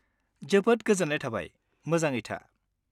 जोबोद गोजोन्नाय थाबाय, मोजाङै था।